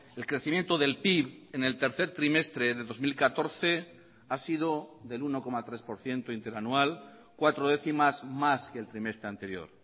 el crecimiento del pib en el tercer trimestre de dos mil catorce ha sido del uno coma tres por ciento interanual cuatro décimas más que el trimestre anterior